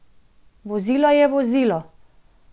Vozilo je vozilo!